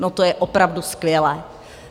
No to je opravdu skvělé!